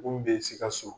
Mun bɛ sikaso